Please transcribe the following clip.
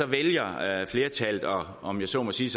vælger flertallet at om jeg så må sige